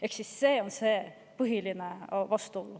Ehk siis see on see põhiline vastuolu.